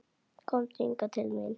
Komdu hingað til mín.